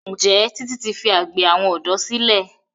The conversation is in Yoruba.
Njé Titi ti fí àgbè àwọn odò sílè?